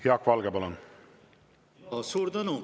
Jaak Valge, palun!